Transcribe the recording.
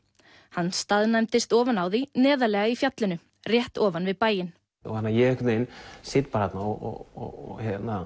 hann staðnæmdist ofan á því neðarlega í fjallinu rétt ofan við bæinn ég einhvern veginn sit þarna og